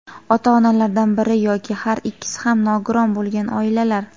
ota-onalardan biri yoki har ikkisi ham nogiron bo‘lgan oilalar;.